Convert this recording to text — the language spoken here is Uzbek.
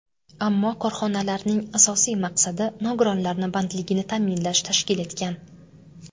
Ammo korxonalarning asosiy maqsadi nogironlarni bandligini ta’minlash tashkil etilgan.